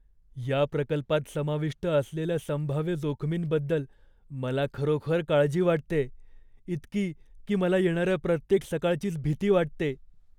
या प्रकल्पात समाविष्ट असलेल्या संभाव्य जोखमींबद्दल मला खरोखर काळजी वाटतेय, इतकी की मला येणाऱ्या प्रत्येक सकाळचीच भीती वाटते.